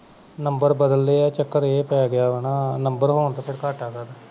number ਬਦਲ ਲਏ ਆ ਚਕਰ ਇਹ ਪੈ ਗਿਆ ਵਾਹਨਾਂ number ਹੋਣ ਤੇ ਘਾਟਾ ਕਾਦਾ